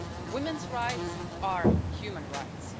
Women's rights are human rights.